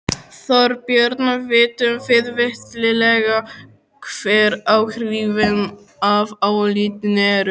Þorbjörn, vitum við fyllilega hver áhrifin af álitinu eru?